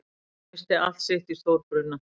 Missti allt sitt í stórbruna